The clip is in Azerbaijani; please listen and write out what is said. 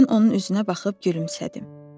Mən onun üzünə baxıb gülümsədim.